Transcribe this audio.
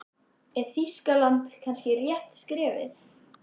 Er Þýskaland kannski rétta skrefið?